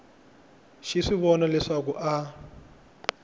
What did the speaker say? xi swi vona leswaku a